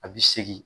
A bi segin